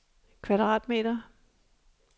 kvadratmeter